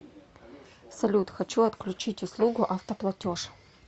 салют хочу отключить услугу автоплатеж